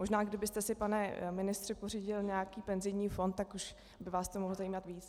Možná kdybyste si, pane ministře, pořídil nějaký penzijní fond, tak už by vás to mohlo zajímat víc.